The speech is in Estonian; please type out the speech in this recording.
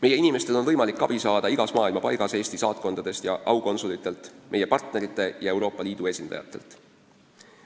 Meie inimestel on võimalik abi saada igas maailma paigas Eesti saatkondadest ja aukonsulitelt, meie partnerite ja Euroopa Liidu esindajatelt.